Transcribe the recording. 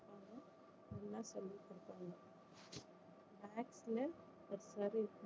நல்லா சொல்லி கொடுப்பாங்க maths ல